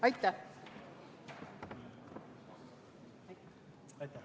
Aitäh!